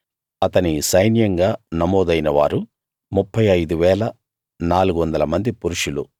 అతని సైన్యంగా నమోదైన వారు 35 400 మంది పురుషులు